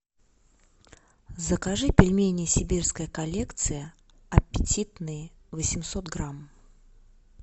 закажи пельмени сибирская коллекция аппетитные восемьсот грамм